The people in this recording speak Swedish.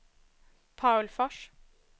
Paul Fors